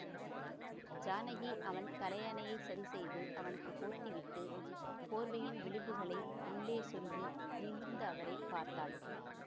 ஜானகி அவன் தலையணையைச் சரி செய்து அவனுக்கு போத்திவிட்டு போர்வையின் விளிம்புகளை உள்ளே சொருகி நிமிர்ந்து அவரை பார்த்தாள்